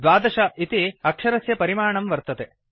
द्वादश इति अक्षरस्य परिमाणं वर्तते